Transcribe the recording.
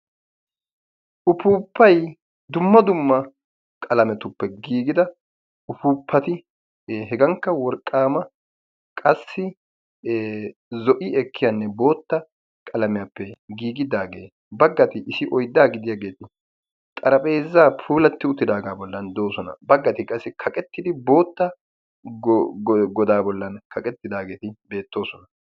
upuupay dumma dumma merara de"iyage deesi bagay kaqettidossona bagayi bootta xaraphezza bollani de"iyagetti beettosona.